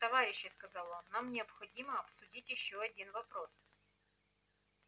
товарищи сказал он нам необходимо обсудить ещё один вопрос